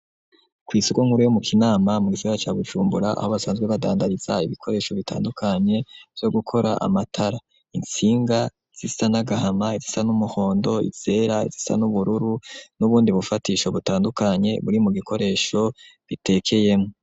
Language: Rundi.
Kw'isoko nkuru yo mu kinama mu Gisagara ca Bujumbura aho basanzwe badandariza ibikoresho bitandukanye vyo gukora amatara itsinga zisa nagahama izisa n'umuhondo izera izisa n'ubururu n'ubundi bufatisho butandukanye buri mu gikoresho bitekeyemo.